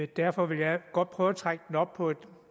derfor vil jeg godt prøve at trække den op på et